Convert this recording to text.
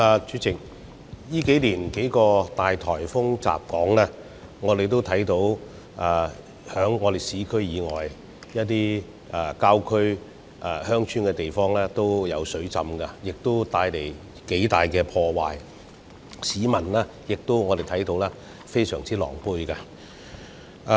主席，近年數個巨大颱風襲港，我們也看到市區以外的一些郊區和鄉村地方出現水浸，亦造成頗大的破壞，市民也非常狼狽。